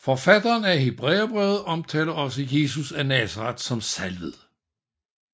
Forfatteren af Hebræerbrevet omtaler også Jesus af Nazaret som salvet